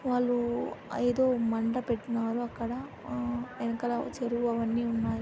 రు వాళ్ళూ ఆ ఏదో మంట పెట్టినారు అక్కడ అమ్ ఎనకల--